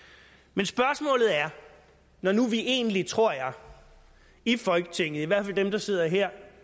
men spørgsmålet er når nu vi egentlig tror jeg i folketinget i hvert fald dem der sidder her